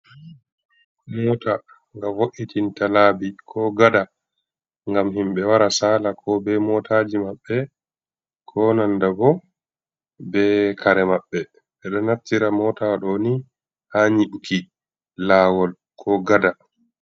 Mota ga vo’itinta labi, ko gada gam himbe wara sala ko be motaji mabbe, ko nanda bo be kare mabbe bedo nattira mota do ni ha nyibuki lawol, ko gada.